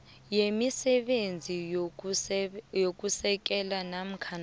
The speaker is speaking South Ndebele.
yemisebenzi yokusekela namkha